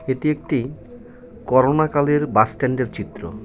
এটি একটি করোনা কালের বাসস্ট্যান্ডের চিত্র.